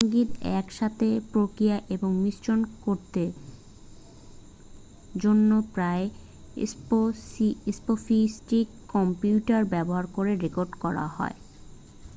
সঙ্গীত একসাথে প্রক্রিয়া এবং মিশ্রণ করতে জন্য প্রায়ই স্পফিস্টিক কম্পিউটার ব্যবহার করে রেকর্ড করা হয়